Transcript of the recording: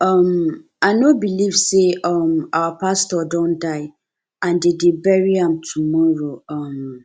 um i no believe say um our pastor don die and de dey bury am tomorrow um